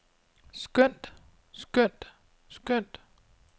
skønt skønt skønt